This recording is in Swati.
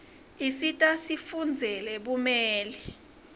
issita sifundzeye bumeli